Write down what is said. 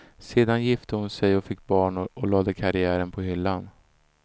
Sedan gifte hon sig och fick barn och lade karriären på hyllan.